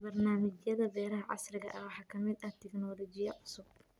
Barnaamijyada beeraha casriga ah waxaa ka mid ah tignoolajiyada cusub.